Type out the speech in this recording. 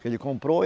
Que ele comprou.